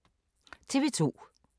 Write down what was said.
TV 2